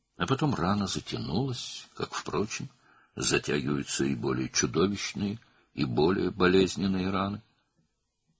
Sonra yara sağaldı, həmçinin daha qorxunc və daha ağrılı yaralar da sağalır.